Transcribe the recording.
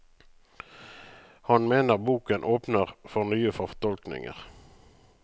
Han mener boken åpner for nye fortolkninger.